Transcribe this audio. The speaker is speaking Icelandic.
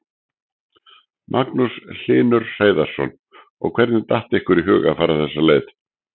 Magnús Hlynur Hreiðarsson: Og hvernig datt ykkur í hug að fara þessa leið?